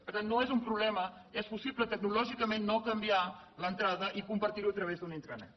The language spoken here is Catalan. per tant no és un problema és possible tecnològicament no canviar l’entrada i compartir ho a través d’una intranet